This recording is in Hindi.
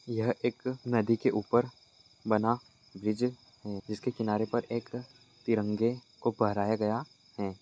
यह एक नदी के ऊपर बना ब्रिज है जिसके किनारे पर एक तिरंगे को फहराया गया है।